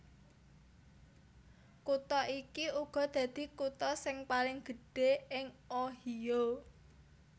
Kutha iki uga dadi kutha sing paling gedhé ing Ohio